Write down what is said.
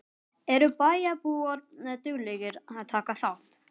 Eru bæjarbúar duglegir að taka þátt?